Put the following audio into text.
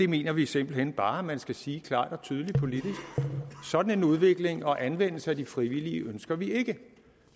mener vi simpelt hen bare man politisk skal sige klart og tydeligt at sådan en udvikling og anvendelse af de frivillige ønsker vi ikke